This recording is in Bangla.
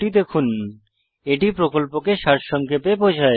httpspoken tutorialorgWhat is a Spoken Tutorial এটি প্রকল্পকে সারসংক্ষেপে বোঝায়